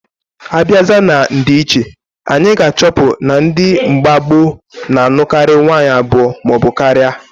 Abiazia na ndiiche, anyị ga achọpụ na ndi mgba gboo na anụkari nwanyị abụọ maọbu karia.